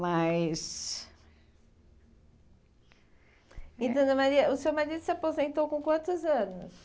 Mas... E dona Maria, o seu marido se aposentou com quantos anos?